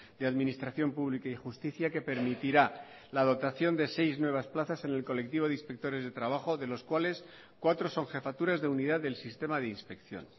de administración pública y justicia que permitirá la dotación de seis nuevas plazas en el colectivo de inspectores de trabajo de los cuales cuatro son jefaturas de unidad del sistema de inspección